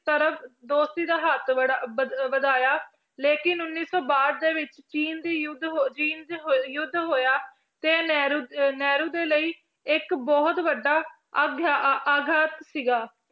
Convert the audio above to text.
ਤਰਫ਼ ਦੋਸਤੀ ਦਾ ਹੱਥ ਬੜ~ ਵਧ~ ਵਧਾਇਆ ਲੇਕਿੰਨ ਉੱਨੀ ਸੌ ਬਾਹਠ ਦੇ ਵਿੱਚ ਚੀਨ ਦੀ ਯੁੱਧ ਹੋ~ ਚੀਨ 'ਚ ਹੋਏ~ ਯੁੱਧ ਹੋਇਆ ਤੇ ਨਹਿਰੂ ਅਹ ਨਹਿਰੂ ਦੇ ਲਈ ਇਹ ਇੱਕ ਬਹੁਤ ਵੱਡਾ ਆਗਾਤ ਸੀਗਾ